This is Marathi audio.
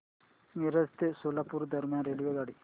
मिरज ते सोलापूर दरम्यान रेल्वेगाडी